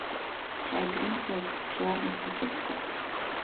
чай гринфилд черный в пакетиках